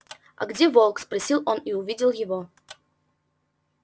а где волк спросил он и увидел его